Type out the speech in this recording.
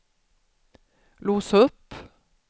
lås upp